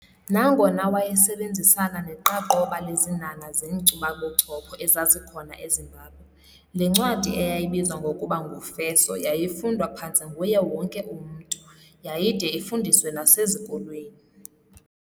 Nangona wayesebenzisana neqaqobana lezinhanha zeenkcubabuchopho ezazikhona eZimbabwe, le ncwadi eyayibizwa ngokuba ngu"Feso" yayifundwa phantse nguye wonke umntu, yayide ifundiswe nasezikolweni.